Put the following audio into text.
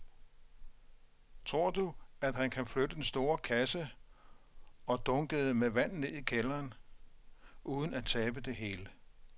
Tror du, at han kan flytte den store kasse og dunkene med vand ned i kælderen uden at tabe det hele?